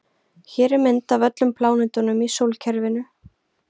Hér er mynd af öllum plánetunum í sólkerfinu.